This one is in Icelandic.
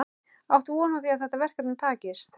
Áttu von á því að þetta verkefni takist?